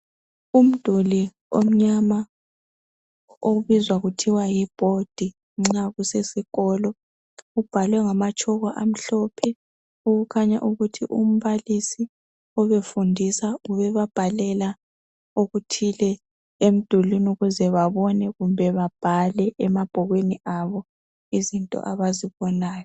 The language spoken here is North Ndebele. Umduli omnyama obizwa kuthiwa yibhodi nxa kusesikolo ubhalwe ngamatshoko amhlophe okukhanya ukuthi umbalisi obefundisa ubebabhalela okuthile emdulini ukuze babone kumbe babhale emabhukwini abo izinto abazibonayo